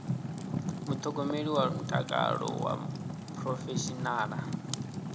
muṱhogomeli wa mutakalo wa phurofeshinala